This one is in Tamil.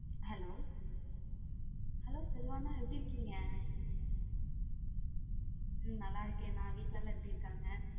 Hello, hello செல்வா அண்ணா எப்பிடி இருக்கீங் நல்ல இருக்கேன் அண்ணா வீடுலைலம் எப்பிடி இருகாங்க?